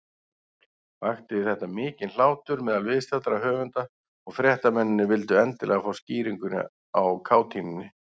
Vakti þetta mikinn hlátur meðal viðstaddra höfunda, og fréttamennirnir vildu endilega fá skýringu á kátínunni.